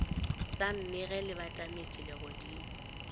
sa mmege le batametše legodimo